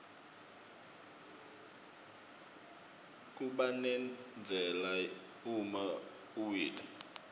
kubanendzala uma uwile